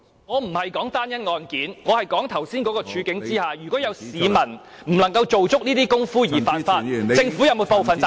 我不是指單一案件，我是說在剛才的處境下，如果有市民不能夠做足這些工夫而犯法，政府是否負有部分責任？